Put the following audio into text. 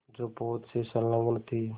जो पोत से संलग्न थी